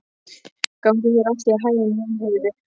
Gangi þér allt í haginn, Jónheiður.